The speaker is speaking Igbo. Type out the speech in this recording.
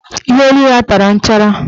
Iheolu ya tara nchara.